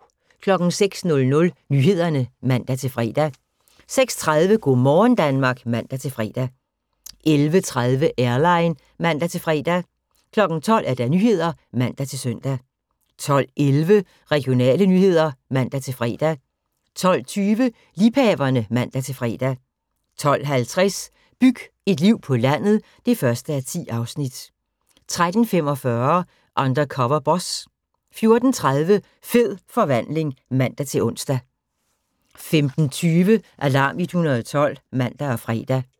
06:00: Nyhederne (man-fre) 06:30: Go' morgen Danmark (man-fre) 11:30: Airline (man-fre) 12:00: Nyhederne (man-søn) 12:11: Regionale nyheder (man-fre) 12:20: Liebhaverne (man-fre) 12:50: Byg et liv på landet (1:10) 13:45: Undercover Boss 14:30: Fed forvandling (man-ons) 15:20: Alarm 112 (man og fre)